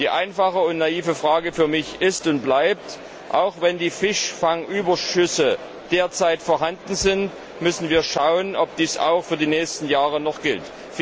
Die einfache und naive Frage für mich ist und bleibt Auch wenn die Fischfangüberschüsse derzeit vorhanden sind, müssen wir schauen, ob dies auch für die nächsten Jahre noch gilt.